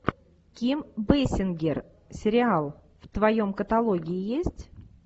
ким бейсингер сериал в твоем каталоге есть